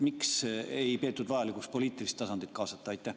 Miks ei peetud vajalikuks poliitilist tasandit kaasata?